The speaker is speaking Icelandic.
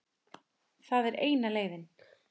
Það er eina leiðin.